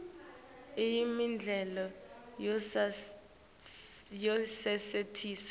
iyemidlalo yasesitesi